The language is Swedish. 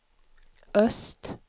öst